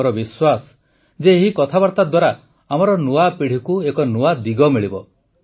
ମୋର ବିଶ୍ୱାସ ଯେ ଏହି କଥାବାର୍ତ୍ତା ଦ୍ୱାରା ଆମର ନୂଆ ପିଢ଼ିକୁ ଏକ ନୂଆ ଦିଗ ମିଳିବ